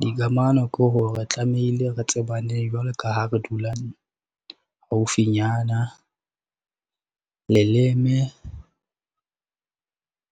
Dikamano ke hore tlamehile re tsebane jwalo ka ha re dula, haufinyana. Leleme,